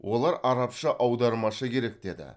олар арабша аудармашы керек деді